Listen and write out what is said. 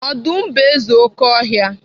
Ọdụm bụ eze oké ọhịa.